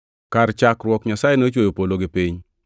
Kar chakruok Nyasaye nochweyo polo gi piny.